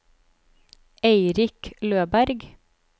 Eirik Løberg